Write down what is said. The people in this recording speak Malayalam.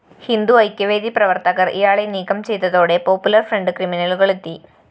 ഹിന്ദുഐക്യവേദി പ്രവര്‍ത്തകര്‍ ഇയാളെ നീക്കം ചെയ്തതോടെ പോപ്പുലര്‍ഫ്രണ്ട് ക്രിമിനലുകളെത്തി